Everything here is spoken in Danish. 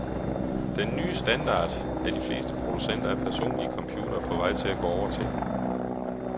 Den ny standard er de fleste producenter af personlige computere på vej til at gå over til.